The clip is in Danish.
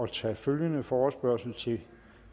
tage følgende forespørgsel til